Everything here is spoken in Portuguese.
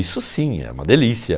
Isso sim, é uma delícia.